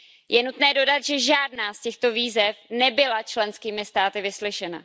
Je nutné dodat, že žádná z těchto výzev nebyla členskými státy vyslyšena.